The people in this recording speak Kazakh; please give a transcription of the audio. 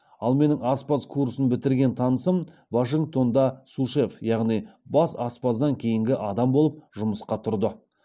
ал менің аспаз курсын бітірген танысым вашингтонда су шеф яғни бас аспаздан кейінгі адам болып жұмысқа тұрды